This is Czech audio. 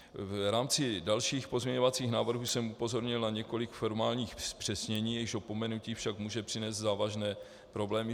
V rámci dalších pozměňovacích návrhů jsem upozornil na několik formálních zpřesnění, jejichž opomenutí však může přinést závažné problémy.